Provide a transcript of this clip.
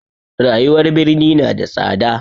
Rayuwar birni na da tsada.